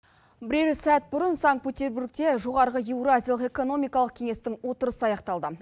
бірер сәт бұрын санкт петербургте жоғары еуразиялық экономикалық кеңестің отырысы аяқталды